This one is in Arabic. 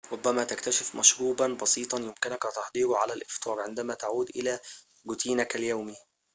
ربما تكتشف مشروباً بسيطاً يمكنك تحضيره على الإفطار عندما تعود إلى روتينك اليومي